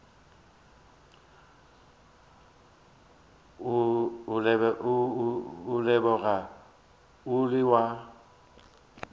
o lebega o le wa